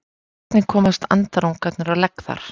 hvernig komast andarungarnir á legg þar